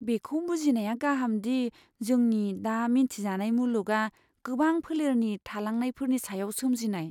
बेखौ बुजिनाया गाहाम दि जोंनि दा मिथिजानाय मुलुगआ गोबां फोलेरनि थालांनायफोरनि सायाव सोमजिनाय।